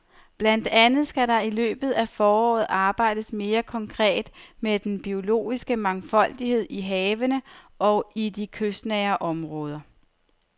Blandt andet skal der i løbet af foråret arbejdes mere konkret med den biologiske mangfoldighed i havene og i de kystnære områder.